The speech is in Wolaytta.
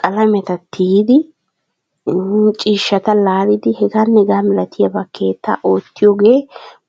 qalameta tiyidi ii ciishshata laalidi hegaane hegaa malabaa keettaa oottiyoogee